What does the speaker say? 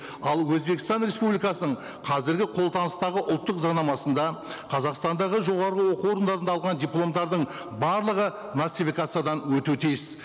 ал өзбекстан республикасының қазіргі қолданыстағы ұлттық заңнамасында қазақстандағы жоғарғы оқу орындарында алған дипломдардың барлығы нацификациядан өту тиіс